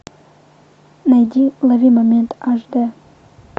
найди лови момент аш дэ